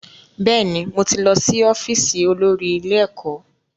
Bẹ́ẹ̀ni, mo ti lọ́ sí ọ́fíìsì olórí ilé ẹ̀kọ́